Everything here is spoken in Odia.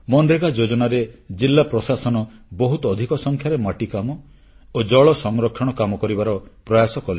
ମନରେଗା ଯୋଜନାରେ ଜିଲ୍ଲା ପ୍ରଶାସନ ବହୁତ ଅଧିକ ସଂଖ୍ୟାରେ ମାଟିକାମ ଓ ଜଳ ସଂରକ୍ଷଣ କାମ କରିବାର ପ୍ରୟାସ କଲେ